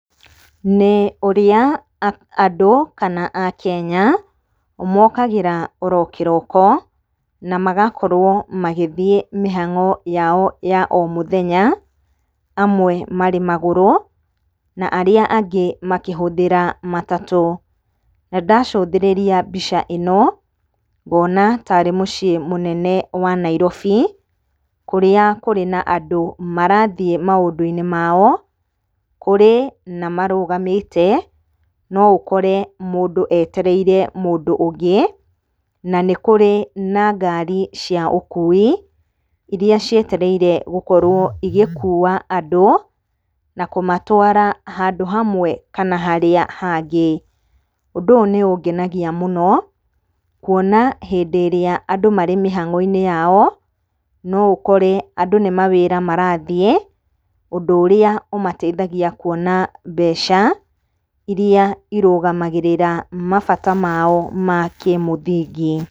NĨ ũrĩa andũ kana Akenya mokagĩra oro kĩroko na magakorwo magĩthiĩ mĩhang'o yao ya o mũthenya, amwe marĩ magũrũ, na arĩa angĩ makĩhũthĩra matatũ. Nandacũthĩrĩria mbica ĩno, ngona ta arĩ mũciĩ mũnene wa Nairobi, kũrĩa kũrĩ na andũ marathiĩ maũndũ-inĩ mao. Kũrĩ na marũgamĩte, noũkore mũndũ etereire mũndũ ũngĩ, na nĩ kũrĩ na ngari cia ũkui, iria cietereire gũkorwo igĩkua andũ na kũmatwara handũ hamwe kana harĩa hangĩ. Ũndũ ũyũ nĩũngenagia mũno, kuona hĩndĩ ĩrĩa andũ marĩ mĩhang'o-inĩ yao, noũkore andũ nĩ mawĩra marathiĩ. Ũndũ ũrĩa ũmateithagia kuona mbeca iria irũgamagĩrĩra mabata mao ma kĩmũthingi.